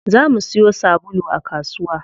Za mu siyo sabulu a kasuwa.